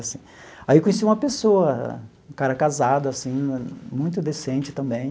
Aí eu conheci uma pessoa, um cara casado assim, muito decente também,